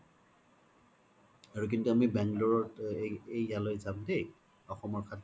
আৰু কিন্তু আমি bangalore ত ইয়ালৈ যাম দেই অসমৰ খাদ্য